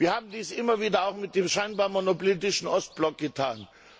Wir haben dies immer wieder auch mit dem scheinbar monolithischen Ostblock getan.